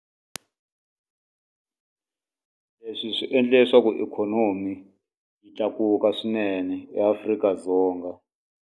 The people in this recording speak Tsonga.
Leswi swi endle leswaku ikhonomi yi tlakuka swinene eAfrika-Dzonga.